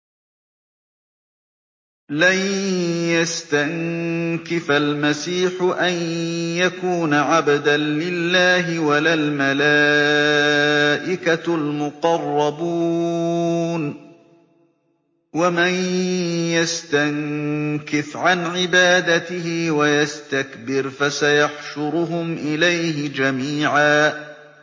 لَّن يَسْتَنكِفَ الْمَسِيحُ أَن يَكُونَ عَبْدًا لِّلَّهِ وَلَا الْمَلَائِكَةُ الْمُقَرَّبُونَ ۚ وَمَن يَسْتَنكِفْ عَنْ عِبَادَتِهِ وَيَسْتَكْبِرْ فَسَيَحْشُرُهُمْ إِلَيْهِ جَمِيعًا